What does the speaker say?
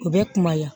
U bɛ kumaya